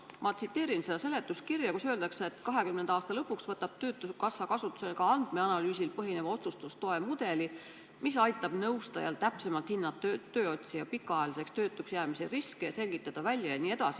Ma tsiteerin seletuskirja, kus öeldakse, et 2020. aasta lõpuks võtab töötukassa kasutusele ka andmeanalüüsil põhineva otsustustoe mudeli, mis aitab nõustajal täpsemalt hinnata tööotsija pikaajaliseks töötuks jäämise riski ja selgitada välja ...